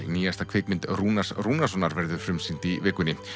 nýjasta kvikmynd Rúnars Rúnarssonar verður frumsýnd í vikunni